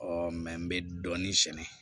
mɛ n bɛ dɔɔnin sɛnɛ